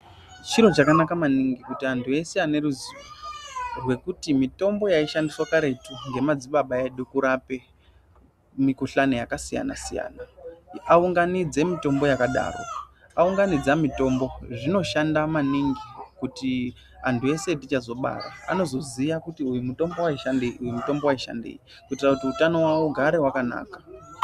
Chiro chakanaka maningi kuti antu eshe ane ruzivo rwekuti mitombo yaishandiswa karetu ngemadzibaba edu kurape mikuhlani yakasiyana siyana aunganidze mitombo yakadaro. Aunganidza mitombo, zvinoshanda maningi kuti antu eshe atichazobara anoziya kuti uyu mutombo waishandei, uyu mutombo waishandei kuitira kuti hutano wawo ugare wakanaka.